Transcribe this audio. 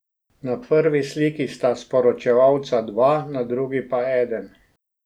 Na prvi sliki sta sporočevalca dva, na drugi pa eden.